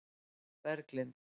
Berglind